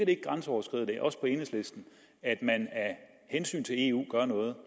ikke grænseoverskridende også på enhedslisten at man af hensyn til eu gør noget